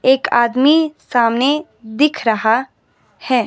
एक आदमी सामने दिख रहा है।